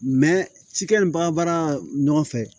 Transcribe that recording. cikɛ ni baga ɲɔgɔn fɛ